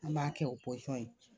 An b'a kɛ o pɔsɔn ye